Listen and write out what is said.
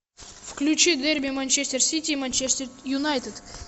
включи дерби манчестер сити и манчестер юнайтед